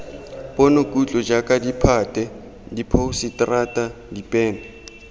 ponokutlo jaaka ditphate diphousetara dinepe